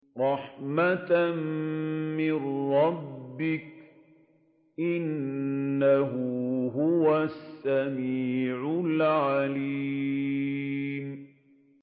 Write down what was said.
رَحْمَةً مِّن رَّبِّكَ ۚ إِنَّهُ هُوَ السَّمِيعُ الْعَلِيمُ